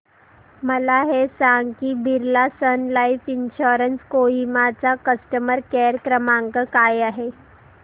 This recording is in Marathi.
मला हे सांग की Birla Sun Life Insurance Kohima चा कस्टमर केअर क्रमांक काय आहे